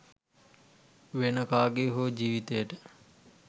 වෙන කගේ හෝ ජිවිතයට